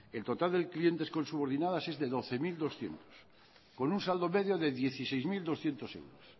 el total de los clientes con subordinadas es de doce mil doscientos con un saldo medio de dieciséis mil doscientos euros